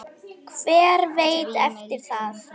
Hver veit eftir það?